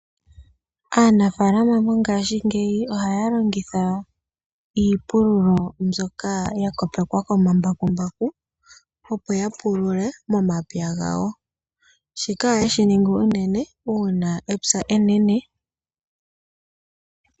Aanafaalama mongaashingeyi ohaya longitha iipululo mbyoka yakopekwa yakopekwa komambakumbaku opo yapulule momapya gawo. Shika ohayeshi ningi unene uuna epya enene.